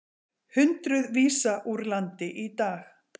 Hundruð vísað úr landi í dag